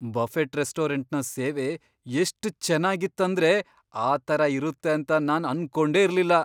Buffett ರೆಸ್ಟೋರೆಂಟ್ನ ಸೇವೆ ಎಷ್ಟ್ ಚೇನ್ನಾಗಿತ್ ಅಂದ್ರೆ ಆ ತರ ಇರುತ್ತೆ ಅಂತ ನಾನ್ ಅನ್ಕೊಂಡೆ ಇರ್ಲಿಲ್ಲ.